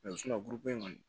burubon in kɔni